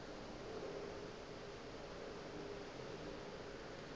e be e tloga e